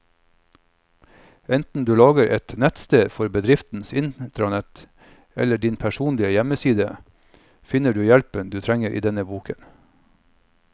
Enten du lager et nettsted for bedriftens intranett eller din personlige hjemmeside, finner du hjelpen du trenger i denne boken.